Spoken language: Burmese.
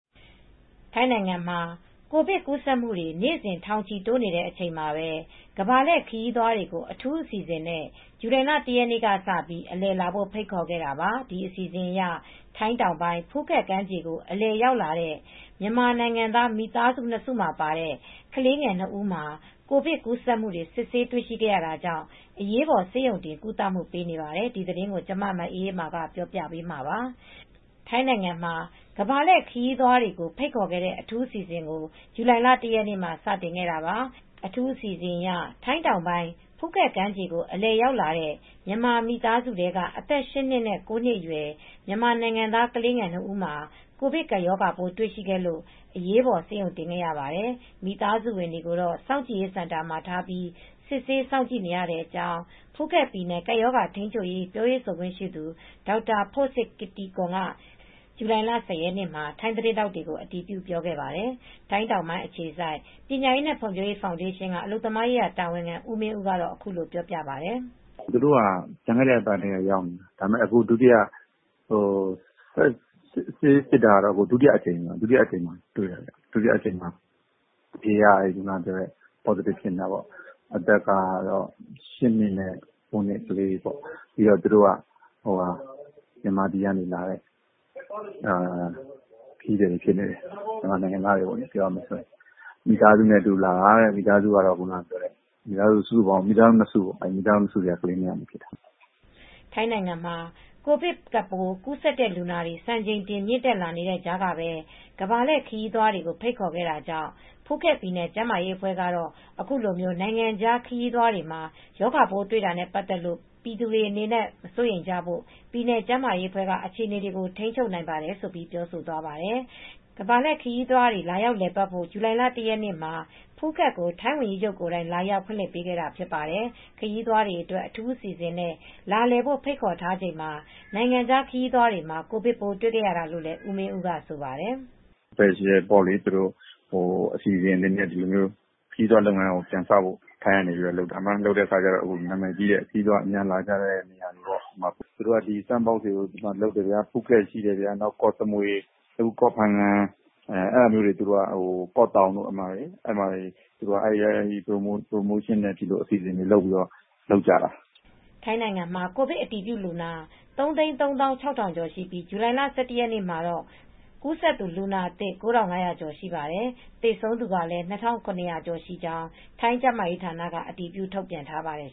ထိုင်းနိုင်ငံမှာ ကိုဗစ်ကူးစက်မှု နေ့စဉ် ထောင်ချီတိုးနေတဲ့ အချိန်မှာပဲ ကမ္ဘာလှည့်ခရီးသွားတွေကို အထူးအစီအစဉ်နဲ့ ဇူလိုင်လ ၁ ရက်ကစပြီး အလည်လာဖို့ ဖိတ်ခေါ်ခဲ့ပါတယ်။ ဒီအစီအစဉ်အရ ထိုင်းတောင်ပိုင်း ဖူခက်ကမ်းခြေကို အလည်ရောက်လာတဲ့ မြန်မာနိုင်ငံသား မိသားစု ၂ စုမှာပါတဲ့ ကလေးငယ် ၂ ဦးမှာ ကိုဗစ်ကူးစက်မှုတွေ စစ်ဆေးတွေ့ရှိရတာကြောင့် အရေးပေါ် ဆေးရုံတင် ကုသမှု ပေးနေပါတယ်။ အပြည့်အစုံကို မအေးအေးမာ တင်ပြပေးထားပါတယ်။ ထိုင်းနိုင်ငံမှာ ကမ္ဘာလှည့်ခရီးသွားတွေကို ဖိတ်ခေါ်ခဲ့တဲ့ အထူးအစီအစဉ်ကို ဇူလိုင်လ ၁ ရက်နေ့မှာ စတင်ခဲ့တာပါ။ အထူးအစီအစဉ်အရ ထိုင်းတောင်ပိုင်း ဖူးခက်ကမ်းခြေကို အလည်ရောက်ရှိလာတဲ့ မြန်မာမိသားစုထဲက အသက် ၈ နှစ်နဲ့ ၉ နှစ်အရွယ် မြန်မာနိုင်ငံသား ကလေးငယ်နှစ်ဦးမှာ ကိုဗစ်ကပ်ရောဂါပိုး တွေ့ရှိခဲ့လို့ အရေးပေါ် ဆေးရုံတင်ခဲ့ရပါတယ်။ မိသားစုဝင်တွေကိုတော့ စောင့်ကြည့်ရေးစင်တာမှာ ထားပြီး စစ်ဆေး စောင့်ကြည့်နေရတဲ့အကြောင်း ဖူးခက်ပြည်နယ် ကပ်ရောဂါထိန်းချုပ်ရေး ပြောရေးဆိုခွင့်ရှိသူ ဒေါက်တာ ဖို့စပ် ကစ်တီကွန်က ဇူလိုင်လ ၁၀ ရက်နေ့မှာ ထိုင်းသတင်းထောက်တွေကို အတည်ပြု ပြောခဲ့ပါတယ်။ ထိုင်းတောင်ပိုင်းအခြေစိုက် ပညာရေးနဲ့ ဖွံ့ဖြိုးရေးဖောင်ဒေးရှင်းက အလုပ်သမားရေးရာ တာဝန်ခံ ဦးမင်းဦးကတော့ အခုလိုပြောပြပါတယ်။ “သူတို့ဟာ ကျန်ခဲ့တဲ့အပတ်ကတည်းက ရောက်နေတယ်။ အခုက ဆေးစစ်တာ ဒုတိယအကြိမ်မှာ တွေ့တာ။ အဖြေက ပေါ့စတစ်ဖြစ်နေတာပေါ့။ အသက်ကတော့ ၈ နှစ်နဲ့ ၉ နှစ်ကလေးတွေပေါ့။ သူတို့က မြန်မာပြည်ကလာတဲ့ ခရီးသည်တွေ ဖြစ်နေတယ်။ မြန်မာနိုင်ငံသားတွေပေါ့။ မိသားစုနဲ့ အတူလာတာ၊ မိသားစု ၂ စုထဲကပေါ့၊ မိသားစု ၂ စုထဲက ကလေး ၂ ယောက်ဖြစ်တာ။” ထိုင်းနိုင်ငံမှာ ကိုဗစ်ကပ်ပိုး ကူးစက်တဲ့ လူနာတွေ စံချိန်တင် မြင့်တက်လာနေတဲ့ ကြားကပဲ ကမ္ဘာလှည့်ခရီးသွားတွေ ဖိတ်ခေါ်ခဲ့တာကြောင့် ဖူးခက်ပြည်နယ် ကျန်းမာရေးအဖွဲ့ကတော့ အခုလို နိုင်ငံခြားခရီးသွားတွေမှာ ရောဂါပိုးတွေ့တာနဲ့ ပတ်သက်ပြီး ပြည်သူတွေအနေနဲ့ မစိုးရိမ်ကြဖို့ ပြည်နယ်ကျန်းမာရေးအဖွဲ့က အခြေအနေတွေကို ထိန်းချုပ်နိုင်ပါတယ်လို့ ပြောဆိုသွားပါတယ်။ ကမ္ဘာလှည့်ခရီးသွားတွေ လာရောက်လည်ပတ်ဖို့ ဇူလိုင်လ ၁ ရက်နေ့မှာ ဖူးခက်ကို ထိုင်းဝန်ကြီးချုပ်ကိုယ်တိုင် လာရောက်ဖွင့်လှစ်ပေးခဲ့တာ ဖြစ်ပါတယ်။ ခရီးသွားတွေအတွက် အထူးအစီအစဉ်နဲ့ လာလည်ဖို့ ဖိတ်ခေါ်ထားချိန်မှာ နိုင်ငံခြားသား ခရီးသွားတွေမှာ ကိုဗစ်ပိုး တွေ့ခဲ့ရတာလို့လည်း ဦးမင်းဦးက ဆိုပါတယ်။ “စပါယ်ရှယ်ပေါ့ အစီအစဉ်အနေနဲ့ ခရီးသွားလုပ်ငန်းကို ထိုင်းက ပြန်လုပ်တာ။ အခု ခရီးသွားတွေ အလာများတဲ့ နာမည်ကြီးတဲ့နေရာတွေမှာ the Sandbox တွေကို လုပ်တယ်။ ဖူးခက်ရှိတယ်၊ ကော့စမွေ၊ ကော့ဖငံ၊ ကော့တောင်တို့မှာ အဲဒီမှာ ပရိုမိုးရှင်းနဲ့ အစီအစဉ်တွေလုပ်ပြီး လုပ်ကြတာ။” ထိုင်းနိုင်ငံမှာ ကိုဗစ်အတည်ပြုလူနာ ၃၃၆,၀၀၀ ကျော်ရှိပြီး ဇူလိုင်လ ၁၁ ရက်နေ့မှာတော့ ကူးစက်သူ လူနာအသစ် ၉,၅၀၀ ကျော်ရှိပါတယ်။ သေဆုံးသူကလည်း ၂,၇၀၀ ကျော်ရှိကြောင်း ထိုင်းကျန်းမာရေးဌာနက အတည်ပြု ထုတ်ပြန်ထားပါတယ်